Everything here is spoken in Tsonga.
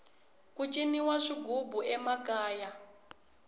ku ciniwa swighubu emakaya